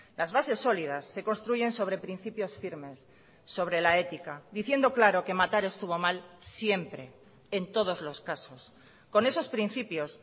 las bases sólidas se construyen sobre principios firmes sobre la ética diciendo claro que matar estuvo mal siempre en todos los casos con esos principios